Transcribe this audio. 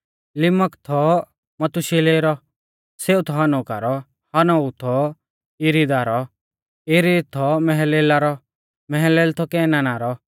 लिमिक थौ मथूशिलह रौ सेऊ थौ हनोका रौ हनोक थौ यिरिदा रौ यिरिद थौ महललेला रौ महललेल थौ केनाना रौ